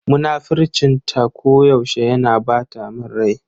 Munafurcin ta ko yaushe yana ɓata min rai.